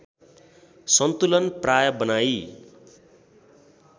सन्तुलन प्राय बनाई